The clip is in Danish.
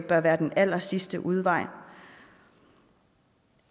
bør være den allersidste udvej